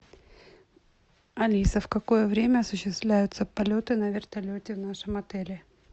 алиса в какое время осуществляются полеты на вертолете в нашем отеле